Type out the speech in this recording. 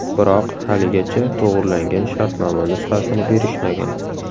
Biroq haligacha to‘g‘rilangan shartnoma nusxasini berishmagan”.